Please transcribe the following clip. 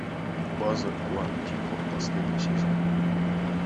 база куантико последний сезон